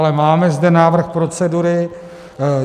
Ale máme zde návrh procedury.